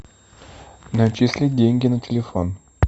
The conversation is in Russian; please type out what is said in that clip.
начислить деньги на телефон